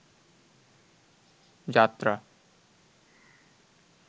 যাত্রা